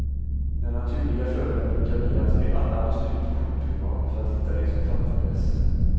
Den naturliga följden brukade bli att vi alla måste ut på shoppingrond för att hitta det som fattades.